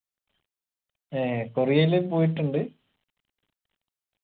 ഏർ കൊറിയയില് പോയിറ്റ്‌ണ്ട്